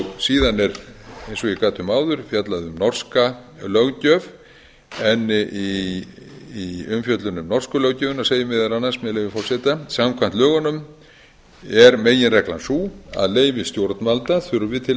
og ég gat um áður fjallað um norska löggjöf en í umfjöllun um norsku löggjöfina segir meðal annars með leyfi forseta samkvæmt lögunum er meginreglan sú að leyfi stjórnvalda þurfi til